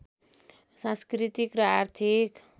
सांस्कृतिक र आर्थिक